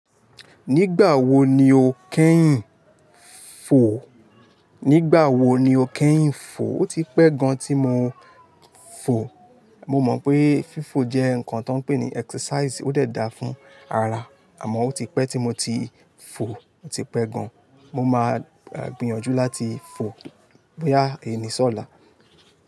Nígbà wo ni o kẹ́yìn fò? Nígbà wo ni o kẹ́yìn fò? Ó ti pẹ́ gan tí mo fò. Mo mọ̀ pé fífò jẹ́ nǹkan tó pè ní exercise, ó dà fún ara, àmọ́ ó ti pẹ́ tí mo ti fò, ó ti pẹ́ gan. Mo máa gbìyànjú láti fò bóyá èníṣọ̀lá.